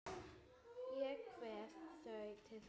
Ég kveð þau til þín.